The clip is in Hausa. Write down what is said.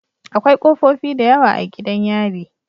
Akwai kofofi da yawa a gidan yari